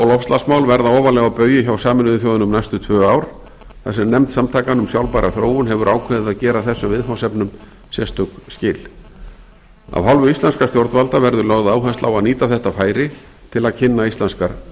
loftslagsmál verða ofarlega á baugi hjá sameinuðu þjóðunum næstu tvö ár þar sem nefnd samtakanna um sjálfbæra þróun hefur ákveðið að gera þessum viðfangsefnum sérstök skil af hálfu íslenskra stjórnvalda verður lögð áhersla á að nýta þetta færi til að kynna íslenskar